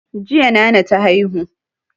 Jiya nana ta haihu